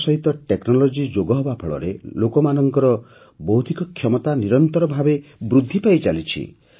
ତାସହିତ ଟେକ୍ନୋଲଜି ଯୋଗହେବା ଫଳରେ ଲୋକମାନଙ୍କର ବୌଦ୍ଧିକ କ୍ଷମତା ନିରନ୍ତର ଭାବେ ବୃଦ୍ଧି ପାଇଚାଲିଛି